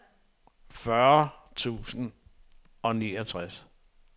fyrre tusind og niogtres